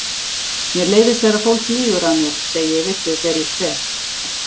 Mér leiðist þegar fólk lýgur að mér, segi ég við þau þegar ég kveð.